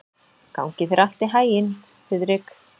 Gangi þér allt í haginn, Þiðrik.